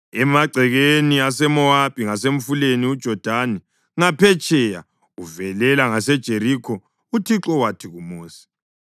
Emagcekeni aseMowabi ngasemfuleni uJodani ngaphetsheya uvelela ngaseJerikho uThixo wathi kuMosi,